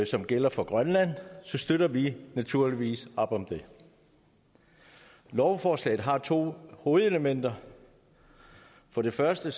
som gælder for grønland så støtter vi naturligvis op om det lovforslaget har to hovedelementer for det første